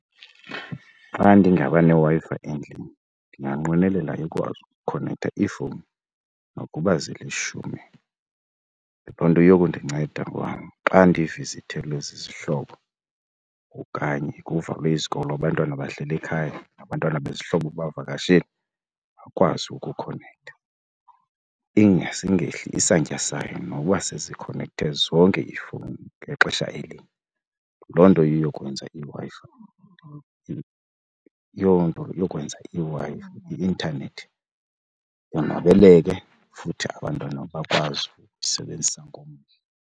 Xa ndingaba neWi-Fi endlini ndinganqwenela ukwazi ukukhonektha iifowuni nokuba zilishumi. Loo nto inokundinceda ngoba xa ndivizithelwe zizihlobo okanye kuvalwe izikolo abantwana bahleli ekhaya nabantwana bezihlobo bevakashele bakwazi ukukhonektha. ingase ingehli isantya sayo noba sezikhonekthe zonke ifowuni ngexesha elinye. Loo nto iyokwenza i-intanethi yonwabeleke futhi abantwana bakwazi ukusebenzisa ngomdla.